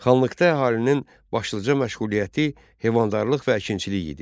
Xanlıqda əhalinin başlıca məşğuliyyəti heyvandarlıq və əkinçilik idi.